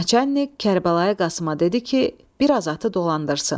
Naçalik Kərbəlayı Qasıma dedi ki, biraz atı dolandırsın.